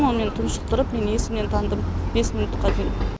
ол мені тұншықтырып мен есінен тандым бес минутқа дейін